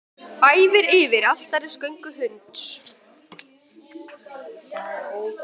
Æfir yfir altarisgöngu hunds